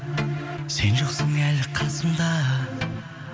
сен жоқсың әлі қасымда